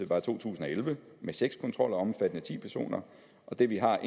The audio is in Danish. fra to tusind og elleve med seks kontroller omfattende ti personer og det vi har